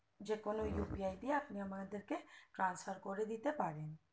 যে কোনো upi দিয়ে আপনি আমাদেরকে transfer করে দিতে পারেন